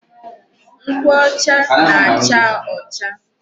Nkwụ ọcha na-acha ọcha.